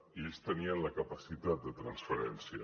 i ells tenien la capacitat de transferència